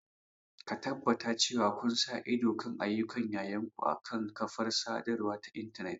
Tabbatar cewa kun sa ido kan ayyukan yayanku akan kafar sadarwa ta intanet.